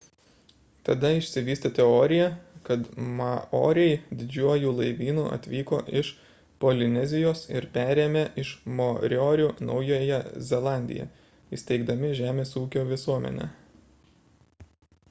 tada išsivystė teorija kad maoriai didžiuoju laivynu atvyko iš polinezijos ir perėmė iš moriorių naująją zelandiją įsteigdami žemės ūkio visuomenę